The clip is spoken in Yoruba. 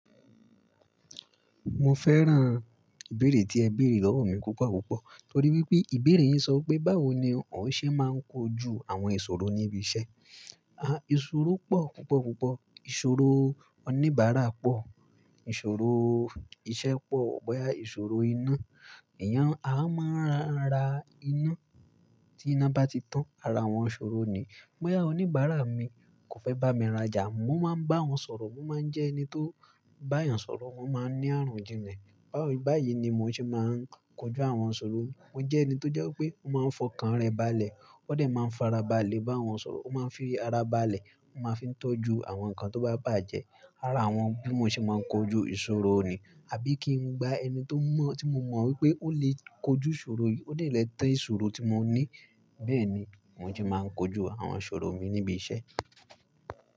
Mo fẹ́ràn ìbéèrè tí ẹ béèrè lọ́wọ́ mi púpọ̀ púpọ̀. Torí wípé ìbéèrè yín sọ pé báwo ni ǹ ó ṣe máa ń kojú àwọn ìṣòro níbi iṣẹ́. Ìṣòro pọ̀ púpọ̀ púpọ̀. Ìṣòro oníbàárà pọ̀, ìṣòro iṣẹ́ pọ̀, boya ìṣòro iná. Èèyàn a máa ń ra iná, tí iná bá ti tán, ara awọn ṣòro ni. Boya oníbàárà mi kò fẹ́ bá mi rajà, mo máa ń bá wọn sọ̀rọ̀, mo máa ń jẹ́ ẹni tó bá èèyàn sọ̀rọ̀, mo máa ń ní àrojinle. Bá yìí ni mò ń ṣe máa ń kojú àwọn iṣòro. Mo jẹ́ ẹni tó jẹ́ pé ó máa ń fọkàn rẹ baálẹ̀, ó dè máa ń fara baálẹ̀ bá àwọn sọ̀rọ̀, ó máa ń fi ara baálẹ̀, ó máa fi ń tọ́jú àwọn nǹkan tó bá bàjẹ́. Ara awọn bí mo ṣe máa ń kojú ìṣòro ni. Àbí kí n gbá ẹni tí mo mọ̀ wípé ó lè kojú ìṣòro yìí, ó lè tan ìṣòro tí mo ní. Bẹ́ẹ̀ ni mò ń ṣe máa ń kojú àwọn ṣòro mi níbi iṣẹ́.